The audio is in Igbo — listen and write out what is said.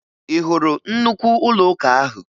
Ị hụrụ nnukwu ụlọụka ahụ?